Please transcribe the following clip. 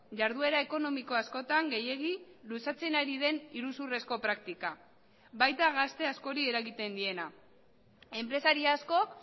jarduera ekonomiko askotan gehiegi luzatzen ari den iruzurrezko praktika baita gazte askori eragiten diena enpresari askok